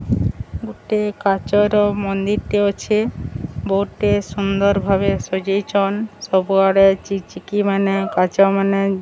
ଗୋଟେ କାଚର ମନ୍ଦିର୍ ଟେ ଅଛେ ବୋଟେ ସୁନ୍ଦର ଭାବେ ସଜେଇଛନ ସବୁଆଡ଼େ ଚିକ୍ ଚିକ୍ ମାନେ କାଚ ମାନେ --